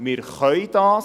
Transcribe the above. wir können dies.